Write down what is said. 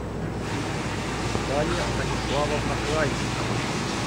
дарья станиславовна крайчикова